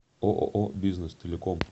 ооо бизнес телеком